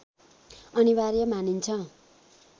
अनिवार्य मानिन्छ